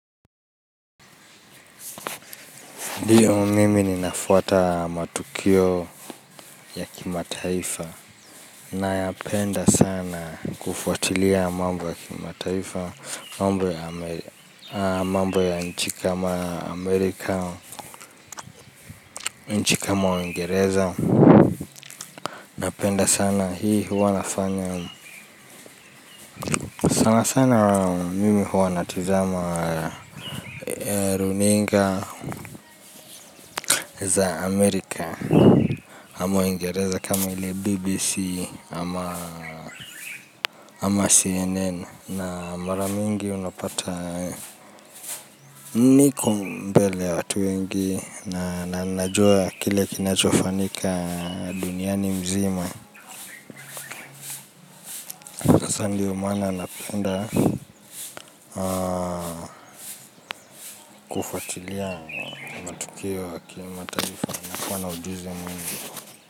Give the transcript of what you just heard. Ndio mimi ninafuata matukio ya kimataifa nayapenda sana kufuatilia mambo ya kimataifa mambo ya nchi kama Amerika, nchi kama Uingereza napenda sana hii huwa nafanya sana sana mimi huwa natizama runinga za Amerika ama Uingereza kama ili BBC ama CNN na mara nyingi unapata niko mbele ya watu wengi na najua kile kinachofanyika duniani mzima sasa ndio maana napenda kufuatilia matukio ya kimataifa nakuwa na ujuzi mwingi.